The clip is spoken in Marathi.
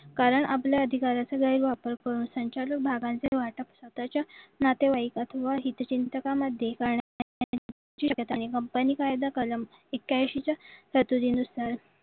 कारण आपल्या अधिकाराचा गैरवापर करून संचालक भागांची वाटप स्वतःच्या नातेवाईक किंवा हितचिंतकामध्ये शक्यता कंपनी कायदा कलम ऐक्यांशीच्या कायद्यानुसार